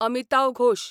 Amitav Ghosh